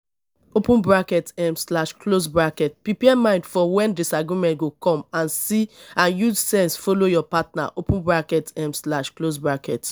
um prepare mind for when disagreement go come and use sense follow your partner um